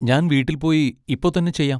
ഞാൻ വീട്ടിൽ പോയി ഇപ്പൊ തന്നെ ചെയ്യാം.